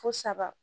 Fo saba